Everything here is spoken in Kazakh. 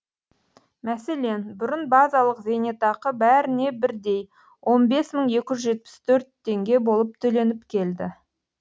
мәселен бұрын базалық зейнетақы бәріне бірдей он бес мың екі жүз жетпіс төрт теңге болып төленіп келді